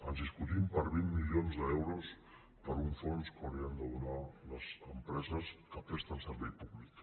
ens discutim per vint milions d’euros per un fons que haurien de donar les empreses que presten servei públic